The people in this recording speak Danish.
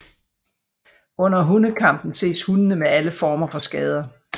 Under hundekampen ses hundene med alle former for skader